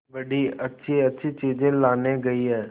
बड़ी अच्छीअच्छी चीजें लाने गई है